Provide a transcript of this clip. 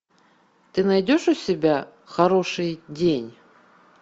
ты найдешь у себя хороший день